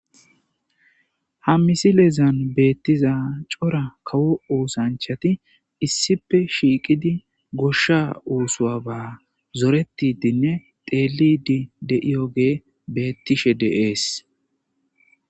Ha misilezan beettiza cora kawo oosanchati issipe shiiqidi goshsha uusua ba zoretidinne teelidi de7iyogee beettishe deees.